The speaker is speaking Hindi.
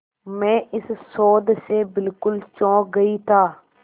मैं इस शोध से बिल्कुल चौंक गई था